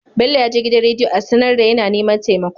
Bello yaje gidan rediyo a sAnar da yAna neman temako